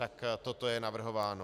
Tak toto je navrhováno.